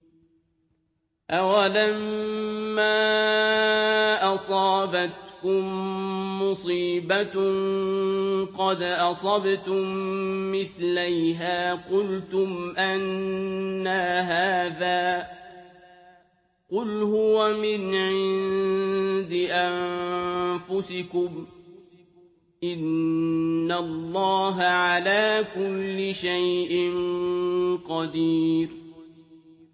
أَوَلَمَّا أَصَابَتْكُم مُّصِيبَةٌ قَدْ أَصَبْتُم مِّثْلَيْهَا قُلْتُمْ أَنَّىٰ هَٰذَا ۖ قُلْ هُوَ مِنْ عِندِ أَنفُسِكُمْ ۗ إِنَّ اللَّهَ عَلَىٰ كُلِّ شَيْءٍ قَدِيرٌ